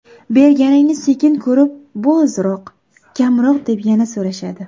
Berganingni sekin ko‘rib, bu ozroq, kamroq deb yana so‘rashadi.